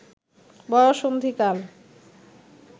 বয়সন্ধিকাল